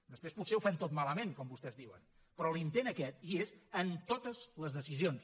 després potser ho fem tot malament com vostès diuen però l’intent aquest hi és en totes les decisions